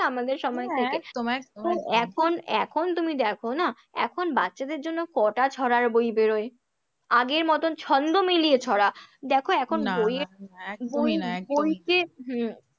না আমাদের সময় থেকে? একদম একদম একদম তো এখন এখন তুমি দেখো না, এখন বাচ্চাদের জন্য কটা ছড়ার বই বেরোয়? আগের মতন ছন্দ মিলিয়ে ছড়া, দেখো এখন বইয়ের না না একদমই না একদমই না, বইতে হম